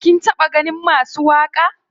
Kin taɓa ganin masu waƙa?